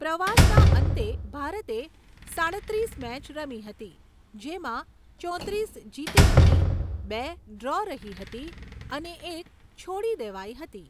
પ્રવાસના અંતે, ભારતે સાડત્રીસ મેચ રમી હતી, જેમાં ચોત્રીસ જીતી હતી, બે ડ્રો રહી હતી, અને એક છોડી દેવાઈ હતી.